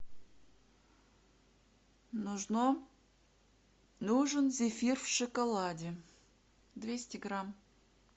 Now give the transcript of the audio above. нужно нужен зефир в шоколаде двести грамм